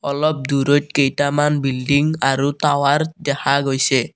অলপ দূৰৈত কেইটামান বিল্ডিংগ আৰু টাৱাৰ দেখা গৈছে।